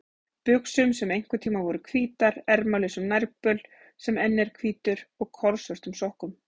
buxum sem einhverntíma voru hvítar, ermalausum nærbol sem enn er hvítur og kolsvörtum sokkum.